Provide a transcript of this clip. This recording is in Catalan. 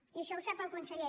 i això ho sap el conseller